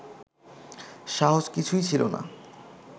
সাহস কিছুই ছিল না